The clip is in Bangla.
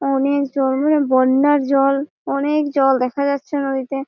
অনেক জলে বন্যার জল। অনেক জল দেখা যাচ্ছে নদীতে।